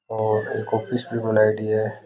और एक ऑफिस भी बनायडी है।